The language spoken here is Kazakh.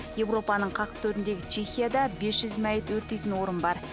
европаның қақ төріндегі чехияда бес жүз мәйіт өртейтін орын бар